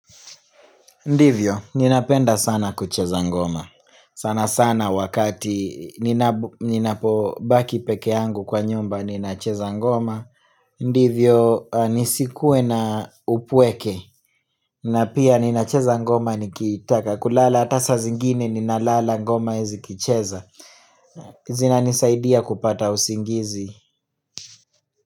Ndivyo, nina penda sana kuchezangoma sana sana wakati nina po baki pekee yangu kwa nyumba nina chezangoma Ndivyo, nisikue na upweke na pia nina chezangoma nikiitaka kulala ata saa zingine ninalala ngoma zi kicheza zina nisaidi ya kupata usingizi.